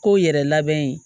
Kow yɛrɛ labɛn